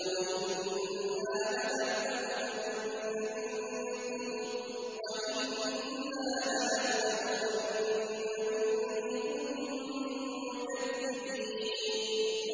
وَإِنَّا لَنَعْلَمُ أَنَّ مِنكُم مُّكَذِّبِينَ